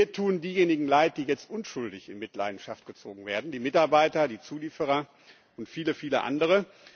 Mir tun diejenigen leid, die jetzt unschuldig in Mitleidenschaft gezogen werden die Mitarbeiter, die Zulieferer und viele andere.